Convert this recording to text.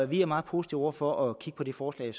vi er meget positive over for at kigge på det forslag